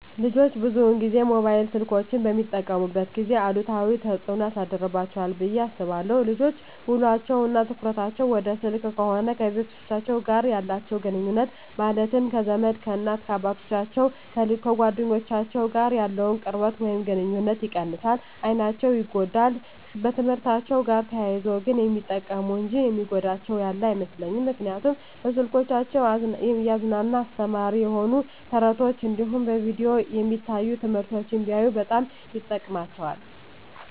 ልጆች ብዙን ጊዜ ሞባይል ስልኮችን በሚጠቀሙበት ጊዜ አሉታዊ ተፅዕኖ ያሳድርባቸዋል ብየ አስባለሁ። ልጆች ውሎቸው እና ትኩረታቸውን ወደ ስልክ ከሆነ ከቤተሰቦቻቸው ጋር ያላቸውን ግኑኙነት ማለትም ከዘመድ፣ ከእናት አባቶቻቸው፣ ከጓደኞቻቸው ጋር ያለውን ቅርበት ወይም ግኑኝነት ይቀንሳል፣ አይናቸው ይጎዳል፣ በትምህርትአቸው ጋር ተያይዞ ግን የሚጠቅሙ እንጂ የሚጎዳቸው ያለ አይመስለኝም ምክንያቱም በስልኮቻቸው እያዝናና አስተማሪ የሆኑ ተረት ተረቶች እንዲሁም በቪዲዮ የሚታዩ ትምህርቶችን ቢያዩ በጣም ይጠቅማቸዋል።